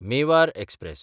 Mewar express